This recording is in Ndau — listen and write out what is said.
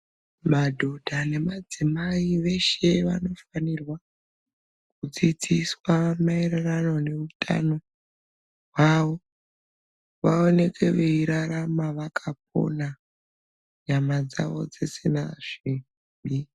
Madhodha nemadzimai veshe vanofanirwa kudzidziswa maererano neutano hwavo, vawoneke veyirarama vakapona ,nyama dzavo dzisina zvibi.